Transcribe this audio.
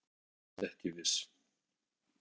Var samt ekki viss.